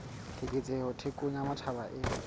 keketseho thekong ya matjhaba e